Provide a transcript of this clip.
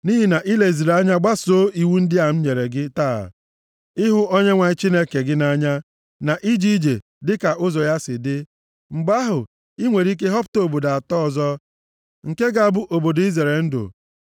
nʼihi na i leziri anya gbasoo iwu ndị a m nyere gị taa ịhụ Onyenwe anyị Chineke gị nʼanya, na ije ije dịka ụzọ ya si dị, mgbe ahụ, i nwere ike họpụta obodo atọ ọzọ, nke ga-abụ obodo izere ndụ.